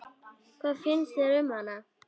Hvað finnst þér um hana?